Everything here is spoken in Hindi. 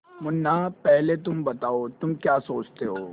मुन्ना पहले तुम बताओ तुम क्या सोचते हो